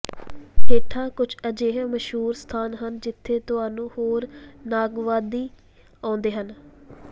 ਹੇਠਾਂ ਕੁਝ ਅਜਿਹੇ ਮਸ਼ਹੂਰ ਸਥਾਨ ਹਨ ਜਿੱਥੇ ਤੁਹਾਨੂੰ ਹੋਰ ਨੱਗਵਾਦੀ ਆਉਂਦੇ ਹਨ